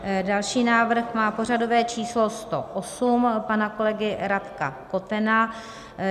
Další návrh má pořadové číslo 108 pana kolegy Radka Kotena.